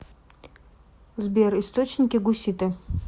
сбер источники гуситы